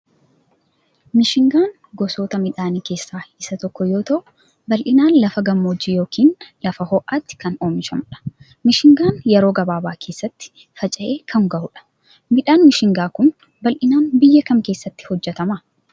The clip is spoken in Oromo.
Mishingaan gosoota midhaanii keessaa isa tokko yoo ta'u bal'inaan lafa gammoojjii yookiin lafa ho'aatti kan oomishamudha. Mishingaan yeroo gabaabaa keessatti faca'ee kan gahudha. Midhaan mishingaa kun bal'inaan biyya kam keessatti hojjetama?